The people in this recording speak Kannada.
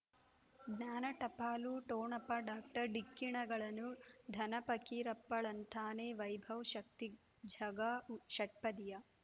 ಜ್ಞಾನ ಟಪಾಲು ಠೊಣಪ ಡಾಕ್ಟರ್ ಢಿಕ್ಕಿ ಣಗಳನು ಧನ ಪಕೀರಪ್ಪ ಳಂತಾನೆ ವೈಭವ್ ಶಕ್ತಿ ಝಗಾ ಷಟ್ಪದಿಯ